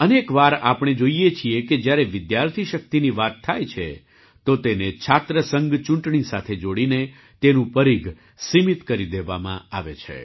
અનેક વાર આપણે જોઈએ છીએ કે જ્યારે વિદ્યાર્થી શક્તિની વાત થાય છે તો તેને છાત્ર સંઘ ચૂંટણી સાથે જોડીને તેનું પરીઘ સીમિત કરી દેવામાં આવે છે